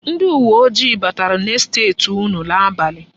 Ndi uweojii batara n'estet unu n'abalị.